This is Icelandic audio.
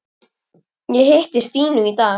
Ég hitti Stínu í dag.